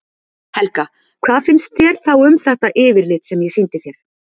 Helga: Hvað finnst þér þá um þetta yfirlit sem ég sýndi þér?